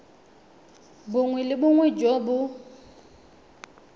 bongwe le bongwe jo bo